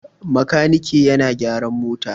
Makaniki yana gyaran mota.